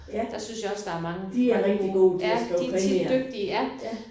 Ja de er rigtig gode til at skrive krimier